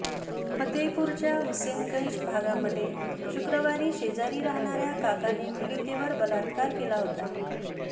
फतेहपूरच्या हुसेनगंज भागामध्ये शुक्रवारी शेजारी राहणाऱ्या काकाने पीडितेवर बलात्कार केला होता